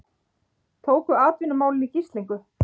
Tóku atvinnumálin í gíslingu